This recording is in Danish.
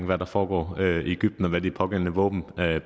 hvad der foregår i egypten og hvad de pågældende våben